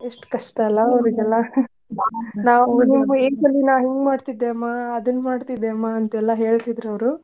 ಎಷ್ಟ ಕಷ್ಟಾ ಅಲಾ ಅವ್ರಿಗೆಲ್ಲಾ ಹಿಂಗ ಮಾಡ್ತಿದ್ದೆಮ್ಮಾ ಅದನ್ನ ಮಾಡ್ತಿದ್ದೆಮ್ಮಾ ಅಂತ ಎಲ್ಲಾ ಹೇಳ್ತಿದ್ರ್ ಅವ್ರು.